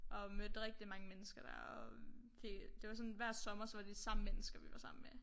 Og mødte rigtig mange mennesker der og det det var sådan hver sommer så var det de samme mennesker vi var sammen med